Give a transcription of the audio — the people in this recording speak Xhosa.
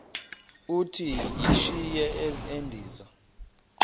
uthi yishi endiza